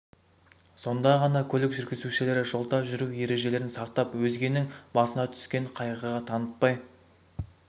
сонда ғана көлік жүргізушілері жолда жүру ережелерін сақтап өзгенің басына түскен қайғыға танытпай